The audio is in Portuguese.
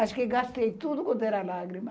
Acho que gastei tudo quanto era lágrima.